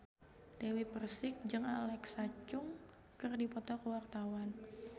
Dewi Persik jeung Alexa Chung keur dipoto ku wartawan